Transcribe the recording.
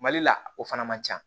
Mali la o fana man ca